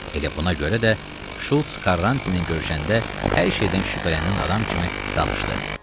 Elə buna görə də Şulz Karrantini görəndə hər şeydən şübhələnən adam kimi danışdı.